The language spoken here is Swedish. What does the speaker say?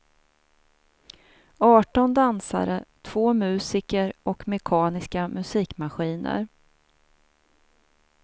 Arton dansare, två musiker och mekaniska musikmaskiner.